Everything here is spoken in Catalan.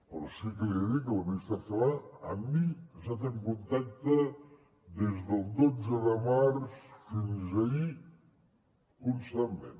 però sí que li dic que la ministra celaá amb mi ha estat en contacte des del dotze de març fins ahir constantment